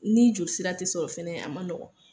Ni joli sira tɛ sɔrɔ fana , a man nɔgɔ.